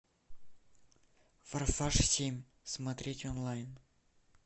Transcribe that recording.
форсаж семь смотреть онлайн